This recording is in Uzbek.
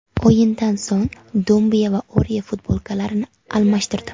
O‘yindan so‘ng Dumbiya va Orye futbolkalarini almashtirdi.